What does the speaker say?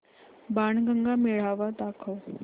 बाणगंगा मेळावा दाखव